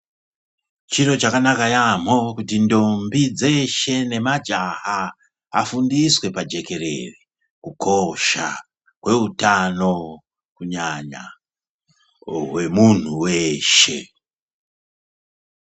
Chiro chakanaka yambo kuti ndombi dzeshe nemajaha afundiswe pajekerere kukosha kweutano kunyanya wemuntu weshe.